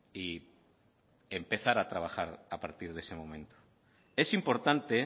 y empezar a trabajar a partir de ese momento es importante